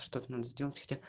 что надо сделать